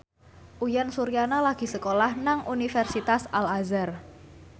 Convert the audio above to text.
Uyan Suryana lagi sekolah nang Universitas Al Azhar